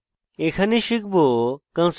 এখানে শিখব